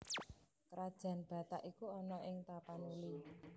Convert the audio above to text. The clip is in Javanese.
Krajan Batak iku ana ing Tapanuli